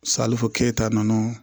Salifu keyita nɔ